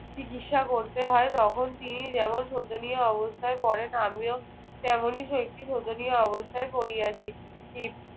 চিকিৎসা করতে হয়। তখন তিনি যেমন শোচনীয় অবস্থায় পড়েন আমিও তেমনই একটি শোচনীয় অবস্থায় পড়িয়াছি।